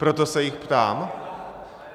Proto se jich ptám.